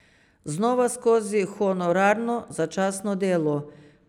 Znova skozi honorarno, začasno delo.